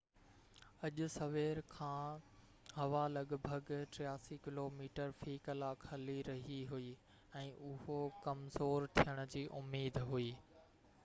اڄ سوير کان ھوا لڳ ڀڳ 83 ڪلوميٽر في ڪلاڪ هلي رئي هئي ۽ اهو ڪمزور ٿيڻ جي اميد هئي